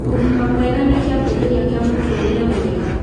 ũgima mwega nĩ kĩambĩrĩrĩa kĩa mũtũrĩre mwega